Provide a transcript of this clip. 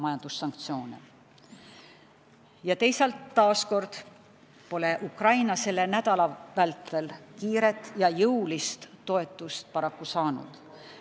Teisalt, selle nädala vältel pole Ukraina taas kord kiiret ja jõulist toetust paraku saanud.